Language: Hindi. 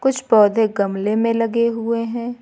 कुछ पौधे गमले मे लगे हुए हैं।